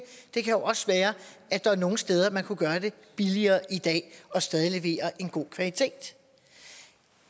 det kan jo også være at der er nogle steder hvor man kunne gøre det billigere i dag og stadig levere en god kvalitet